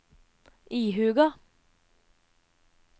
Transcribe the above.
ihuga